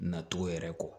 Nacogo yɛrɛ kɔ